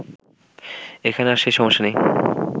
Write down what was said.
এখন আর সে সমস্যা নেই